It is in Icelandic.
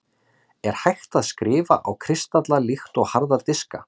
er hægt að „skrifa“ á kristalla líkt og harða diska